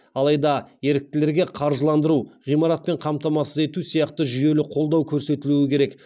алайда еріктілерге қаржыландыру ғимаратпен қамтамасыз ету сияқты жүйелі қолдау көрсетілу керек